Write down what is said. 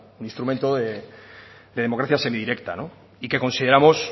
un instrumento de democracia semidirecta y que consideramos